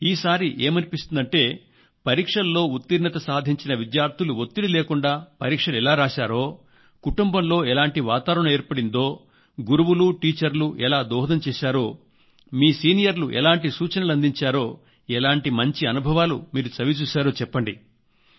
ఈసారి ఏమనిపిస్తుందంటే పరీక్షల్లో ఉత్తీర్ణత సాధించిన విద్యార్థులు ఒత్తిడి లేకుండా పరీక్షలెలా రాశారో కుటుంబంలో ఎలాంటి వాతావరణం ఏర్పడిందో గురువులు టీచర్లు ఎలా దోహదం చేశారో మీ సీనియర్లు ఎలాంటి సూచనలు అందించారో ఎలాంటి మంచి అనుభవాలు చవిచూశారో చెప్పండి